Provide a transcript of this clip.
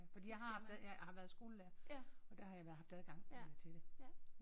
Fordi jeg har haft ad jeg har været skolelærer og der har jeg haft adgang øh til det